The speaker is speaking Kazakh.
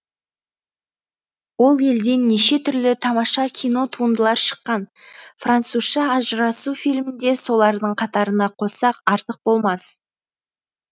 ол елден неше түрлі тамаша кинотуындылар шыққан французша ажырасу фильмін де солардың катарына қоссақ артык болмас